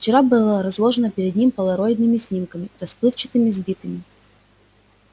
вчера было разложено перед ним полароидными снимками расплывчатыми сбитыми